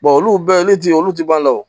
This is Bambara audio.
olu bɛɛ olu ti olu ti ban o